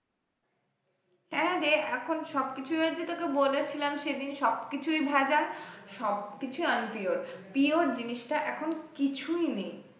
হ্যাঁরে এখন সবকিছু হয়ছে তোকে বলেছিলাম সেদিন সব কিছুই ভেজাল সবকিছুই unpure pure জিনিসটা এখন কিছুই নেই।